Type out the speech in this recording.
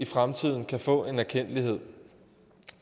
fremtiden kan få en erkendtlighed